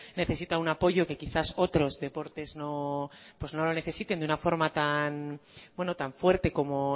necesita un apoyo que quizás otros deportes pues no lo necesiten de una forma tan fuerte como